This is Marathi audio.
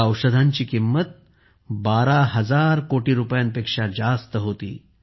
या औषधांची किंमत 12000 कोटी रुपयांपेक्षाही जास्त होती